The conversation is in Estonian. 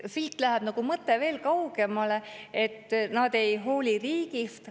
Siit läheb mõte veel kaugemale, et nad ei hooli riigist.